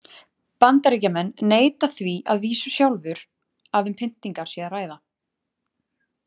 Bandaríkjamenn neita því að vísu sjálfur að um pyntingar sé að ræða.